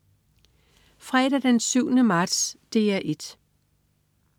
Fredag den 7. marts - DR 1: